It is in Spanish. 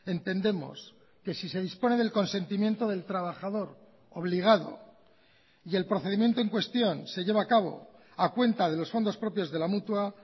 entendemos que si se dispone del consentimiento del trabajador obligado y el procedimiento en cuestión se lleva a cabo a cuenta de los fondos propios de la mutua